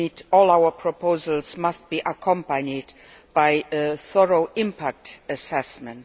All our proposals must be accompanied by a thorough impact assessment.